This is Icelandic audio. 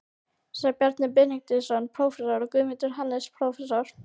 sjá Bjarna Benediktsson, prófessor, og Guðmund Hannesson, prófessor.